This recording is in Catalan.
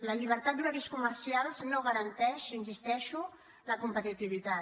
la llibertat d’horaris comercials no garanteix hi insisteixo la competitivitat